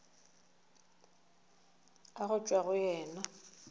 a go tšwa go yena